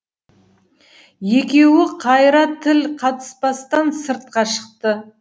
екеуі қайыра тіл қатыспастан сыртқа шықты